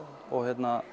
og